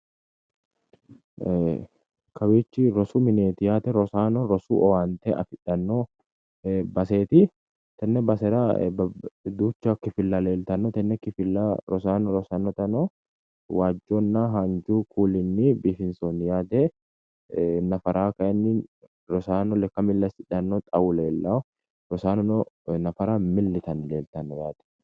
Kawichi rosu mineeti yaate rosaano rosu owaante afidhano baseeti tene basera duucha kifilla leeltano tene kifilla rosaano rosanotano waajunna haanju kuulinni biifinsoonni yaate nafaraa kayinni rosaano lekka Mili asidhano xawu leelao rosaanono nafara Mili yitanni laltano yaate.